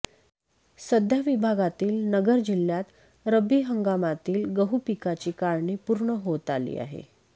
सध्या विभागातील नगर जिल्ह्यात रब्बी हंगामातील गहू पिकाची काढणी पूर्ण होत आली आहे